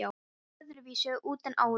Hún leit öðruvísi út en áður.